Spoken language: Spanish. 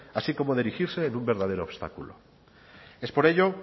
así como de erigirse en un verdadero obstáculo es por ello